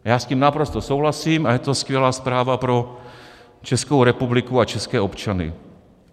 Já s tím naprosto souhlasím a je to skvělá zpráva pro Českou republiku a české občany.